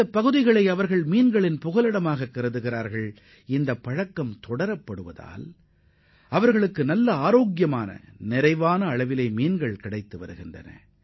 இந்தப் பகுதியை மீன்களின் சரணாலயமாகக் கருதும் அவர்கள் தங்களிடையே நிலவும் இந்த நம்பிக்கை காரணமாக சத்துள்ள மீன்கள் பெருமளவில் கிடைக்கும் என்றும் நினைக்கின்றனர்